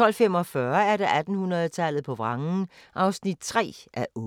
12:45: 1800-tallet på vrangen (3:8)